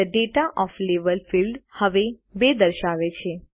the data of level field હવે 2 દર્શાવે છે